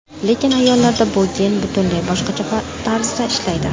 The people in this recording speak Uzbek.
Lekin ayollarda bu gen butunlay boshqacha tarzda ishlaydi.